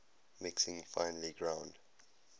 mixing finely ground